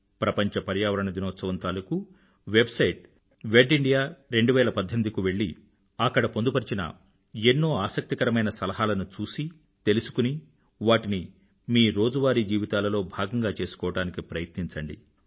ప్రపంచ పర్యావరణ దినోత్సవం తాలూకూ వెబ్సైట్ wedindia2018 కు వెళ్ళి అక్కడ పొందుపరిచిన ఎన్నో ఆసక్తికరమైన సలహాలను చూసి తెలుసుకుని వాటిని మీ రోజువారీ జీవితాలలో భాగంగా చేసుకోవడానికి ప్రయత్నించండి